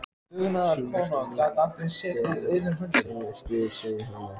Síðan miskunnaði svefninn sig yfir hana.